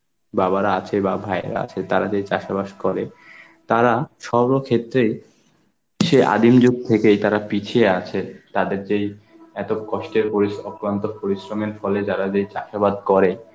বাবার আছে বা ভাইরা আছে, তারা যে চাষোবাদ করে, তারা সর্বক্ষেত্রে সেই আদিম যুগ থেকেই তারা পিছিয়ে আছে. তাদের যেই এত কষ্টের পরিস~ অক্লন্ত পরিশ্রমের ফলে যারা যেই চাষোবাদ করে,